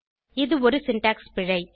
இது ஒரு சின்டாக்ஸ் பிழை